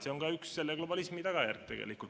See on ka üks globalismi tagajärgi.